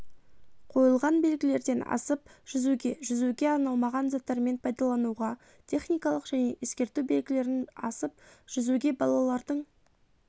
қойылған белгілерден асып жүзуге жүзуге арналмаған заттармен пайдалануға техникалық және ескерту белгілерін асып жүзуге балалардың